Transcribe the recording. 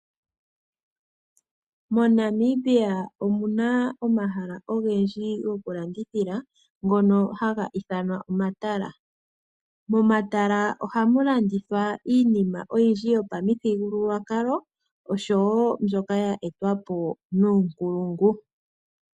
MoNamibia omuna omahala ogendji goku landithila ngoka haga ithanwa omatala. Momatala ohamu landithwa iinima oyindji yo pamuthigululwakalo osho woo mbyoka ya etwapo nuunkulungu.